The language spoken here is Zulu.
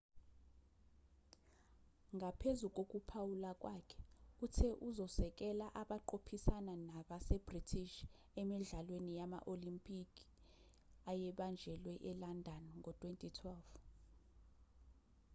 ngaphezu kokuphawula kwakhe uthe uzosekela abaqophisana nabase-british emidlalweni yama-olempikhi ayebanjelwa e-london ngo-2012